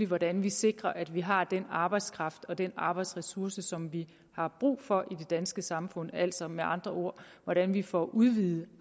hvordan vi sikrer at vi har den arbejdskraft og den arbejdsressource som vi har brug for i det danske samfund altså med andre ord hvordan vi får udvidet